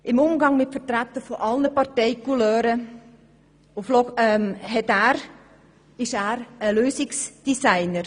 Im Umgang mit Vertretern aller Partei-Couleur ist er ein Lösungsdesigner.